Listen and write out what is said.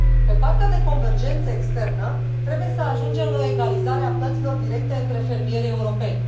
Pe partea de convergență externă trebuie să ajungem la o egalizare a plăților directe între fermierii europeni.